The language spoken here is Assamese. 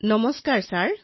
নমস্কাৰ মহোদয়